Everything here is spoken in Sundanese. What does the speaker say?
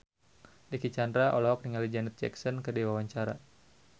Dicky Chandra olohok ningali Janet Jackson keur diwawancara